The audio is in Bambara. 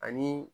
Ani